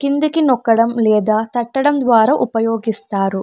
కిందికి నొక్కడం లేదా తట్టడం ద్వారా ఉపయోగిస్తారు.